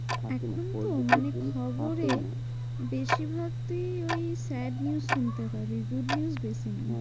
থাকেনা এখন তো মানে থাকে না খবরে বেশিরভাগ তুই ওই sad news শুনতে পাবি। good news বেশি নেই।